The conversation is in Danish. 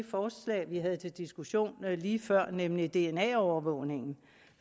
forslag vi havde til diskussion lige før nemlig dna overvågningen